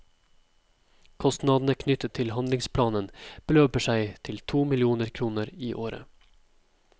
Kostnadene knyttet til handlingsplanen beløper seg til to millioner kroner i året.